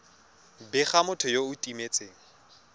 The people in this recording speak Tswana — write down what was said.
bega motho yo o timetseng